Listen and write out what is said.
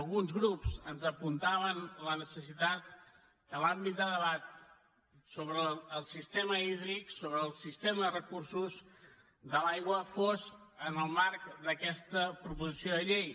alguns grups ens apuntaven la necessitat que l’àmbit de debat sobre el sistema hídric sobre el sistema de recursos de l’aigua fos en el marc d’aquesta proposició de llei